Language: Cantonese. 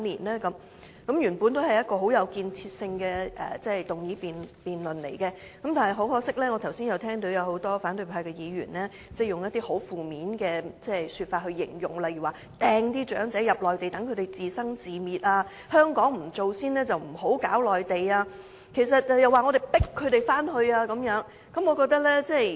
這項議案原本很有建設性，但很可惜，我剛才聽聞多位反對派議員以一些負面的字眼來形容，例如"掟"長者到內地，由得他們自生自滅、如香港不先把問題處理好，就不要打內地主意，又指我們"強迫"長者回去內地安老。